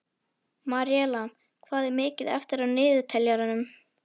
Maríella, hvað er mikið eftir af niðurteljaranum?